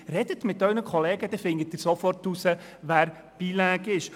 Sprechen Sie mir Ihren Kollegen, dann finden Sie es sofort heraus, wer bilingue ist.